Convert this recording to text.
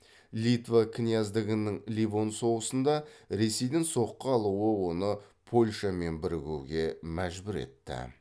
литва князьдігінің ливон соғысында ресейден соққы алуы оны польшамен бірігуге мәжбүр етті